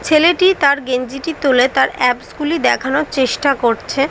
ছেলেটি তার গেঞ্জিটি তুলে তার অ্যাবস গুলি দেখানোর চেষ্টা করছে ।